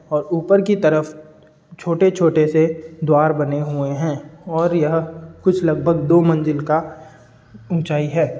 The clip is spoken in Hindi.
और ऊपर की तरफ छोटे छोटे से द्वार बने हुऐ है और यह कुछ लगभग दो मंज़िल का ऊंचाई है।